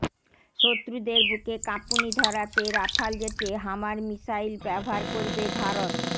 শত্রুদের বুকে কাঁপুনি ধরাতে রাফাল জেটে হামার মিসাইল ব্যবহার করবে ভারত